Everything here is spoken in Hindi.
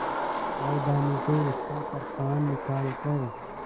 सावधानी से उसका कृपाण निकालकर